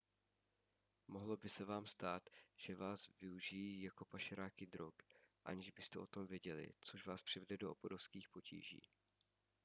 mohlo by se vám stát že váš využijí jako pašeráky drog aniž byste o tom věděli což vás přivede do obrovských potíží